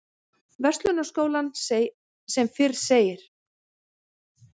Verslunarskólann sem fyrr segir.